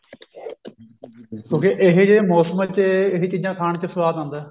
ਕਿਉਂਕਿ ਏਹੋਜਿਹੇ ਮੋਸਮਾ ਚ ਇਹ ਚੀਜ਼ਾਂ ਖਾਣ ਚ ਸਵਾਦ ਆਉਂਦਾ